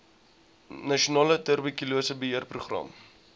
nasionale tuberkulose beheerprogram